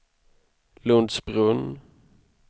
Lundsbrunn